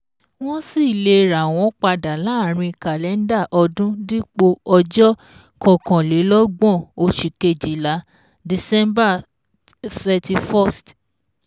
Wọ́n sì le rà wọ́n padà láàrín kàlẹ́ndà ọdún dípò ọjọ́ kankànlélọ́gbọ̀n Oṣù Kejìlá (December 31)